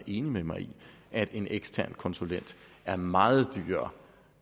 enig med mig i at en ekstern konsulent er meget dyrere